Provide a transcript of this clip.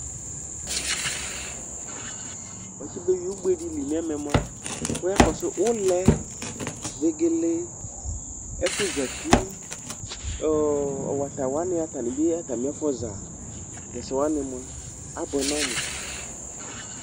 Watsɩ beyui ugbe dɩ li nɛmɛ mʋa ,wʋ ya kɔsʋ ʋlɛ , vegele ,ɛfʋzati ,ɔɔ wata wanɩ atanɩ bɩ atamɩɛfʋza tɛsɛ wanɩ mʋa, abʋɛ nʋ ɔmʋ